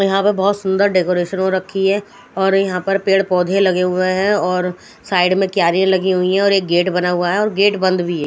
यहाँ पे बहोत सुंदर डेकोरेशन हो रखी है और यहाँ पे पेड़ पौधे लगे हुए हैं और साइड में क्यारियां लगी हुई है और एक गेट बना हुआ है और गेट बंद भी है।